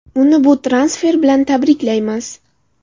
Uni bu transfer bilan tabriklaymiz!